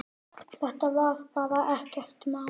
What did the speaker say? Þetta var bara ekkert mál.